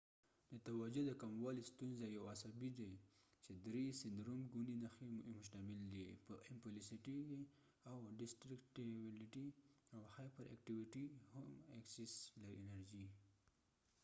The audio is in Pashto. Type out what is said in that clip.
د توجه د کموالی ستونزه attention dificulty disorder یو عصبی سیندرومsyndrome دي چې درې ګونی نښی یې مشتمل دي په امپلسیوېټی impulsivity ، ډستریکټیبیلیټیdistractibility او هایپر ایکټیوېټی hyperactivityاو یا هم ایکسس انرژی excess energy